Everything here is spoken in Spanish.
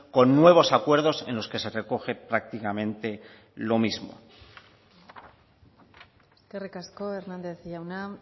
con nuevos acuerdos en los que se recoge prácticamente lo mismo eskerrik asko hernández jauna